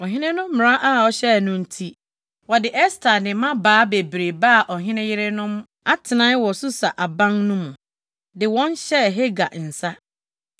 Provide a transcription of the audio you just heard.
Ɔhene no mmara a ɔhyɛe no nti, wɔde Ɛster ne mmabaa bebree baa ɔhene yerenom atenae wɔ Susa aban no mu, de wɔn hyɛɛ Hegai nsa.